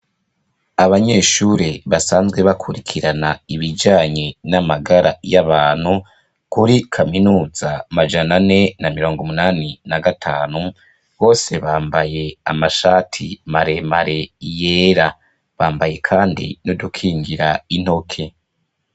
Abanyeshure basanzwe bakurikirana ibijanye namagara yabantu kuri kaminuza majana ane na mirongumunani na gatanu bose bambaye amashati maremare yera, bambaye kandi n’udukingira intoke.